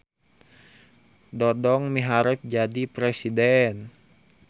Dodong miharep jadi presiden